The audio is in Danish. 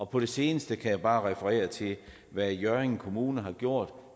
på det seneste kan jeg bare referere til hvad hjørring kommune har gjort